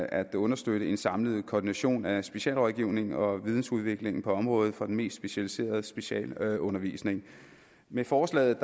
at understøtte en samlet koordination af specialrådgivning og vidensudvikling på området for den mest specialiserede specialundervisning med forslaget